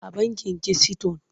A bankin kisiton.